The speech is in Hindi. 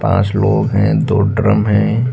पांच लोग है दो ड्रम है।